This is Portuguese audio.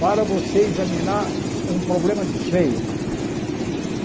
Para você examinar um problema de cheias, por exemplo.